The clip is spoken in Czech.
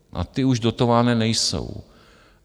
A ty už dotované nejsou.